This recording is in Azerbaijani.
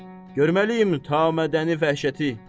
Görməliyik tam mədəni vəhşəti.